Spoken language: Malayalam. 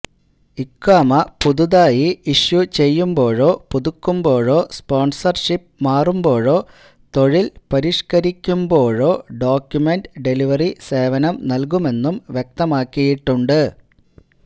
ഇഖാമ പുതുതായി ഇഷ്യു ചെയ്യുമ്പോഴോ പുതുക്കുമ്പോഴോ സ്പോൺസർഷിപ് മാറുമ്പോഴോ തൊഴിൽ പരിഷ്ക്കരിക്കുമ്പോഴോ ഡോക്യുമെന്റ് ഡെലിവറി സേവനം നൽകുമെന്നും വ്യക്തമാക്കിയിട്ടുണ്ട്